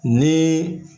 Ni